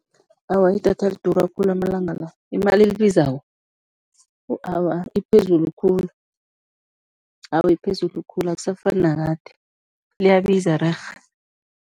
Awa, idatha lidura khulu amalanga la, imali elibizako, wu awa, iphezulu khulu, awa iphezulu khulu, akusafani nakade, liyabiza rerhe.